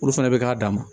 Olu fɛnɛ bɛ k'a dama